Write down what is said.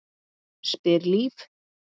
spyr Líf.